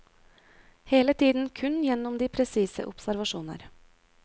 Hele tiden kun gjennom de presise observasjoner.